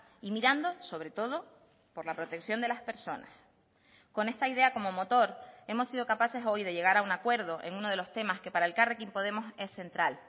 y mirando sobre todo por la protección de las personas con esta idea como motor hemos sido capaces hoy de llegar a un acuerdo en uno de los temas que para elkarrekin podemos es central